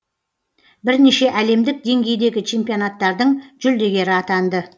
бірнеше әлемдік деңгейдегі чемпионаттардың жүлдегері атанды